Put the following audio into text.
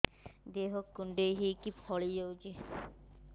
ଦେହ କୁଣ୍ଡେଇ ହେଇକି ଫଳି ଯାଉଛି